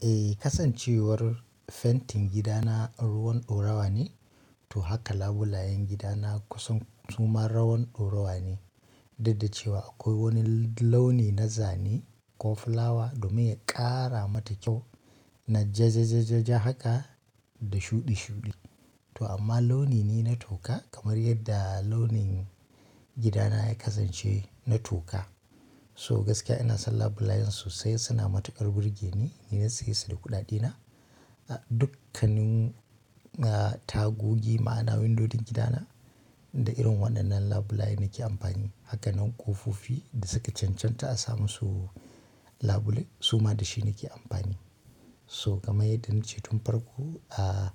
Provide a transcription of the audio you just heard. Eh, kasancewar fentin gidana ruwan ɗaurawa ne, to haka labulayen gidana kusan suma rawan ɗaurawa ne. Duk da ce wa akwai wani launi na zane ko fulawa domin ya ƙara mata kyau na jajajaja haka da shuɗi shuɗi. To amma launi ne na toka kamar yadda launin gidana ya kasance na toka. So gaskiya ina son labu layen sosai suna matuƙar burge ni, ni na saye su da kuɗaɗena. Dukannin, ah, tagogi ma'ana windodin gidana da irin waɗannan labulai nake amfani. Haka nan ƙofofi da suka cancanta a samu su labule suma da shi nake amfani. So kamar yadda nace tun farko, ah,